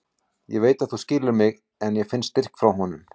Ég veit að þú skilur mig en ég finn styrk frá honum.